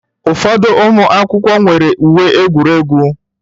Ụfọdụ ụmụ akwụkwọ nwere uwe egwuregwu.